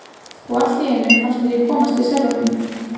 Og allt í einu fannst mér ég komast til sjálfrar mín.